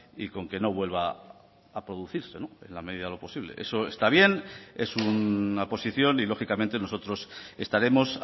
y con que no vuelva a producirse en la medida de lo posible eso está bien es una posición y lógicamente nosotros estaremos